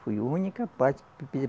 Foi a única parte